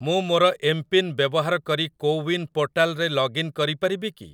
ମୁଁ ମୋର ଏମ୍‌ପିନ୍‌ ବ୍ୟବହାର କରି କୋୱିନ୍ ପୋର୍ଟାଲ୍‌‌ରେ ଲଗ୍ଇନ୍ କରିପାରିବି କି?